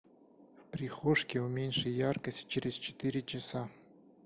в прихожке уменьши яркость через четыре часа